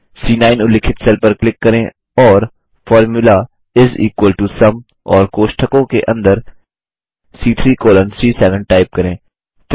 C9 उल्लिखित cell पर click करें और formula is equal to sum और कोष्ठकों के अंदर सी3 कोलन सी7 टाइप करें